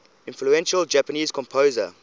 influential japanese composer